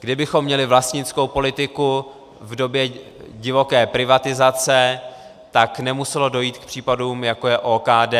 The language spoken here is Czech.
Kdybychom měli vlastnickou politiku v době divoké privatizace, tak nemuselo dojít k případům, jako je OKD,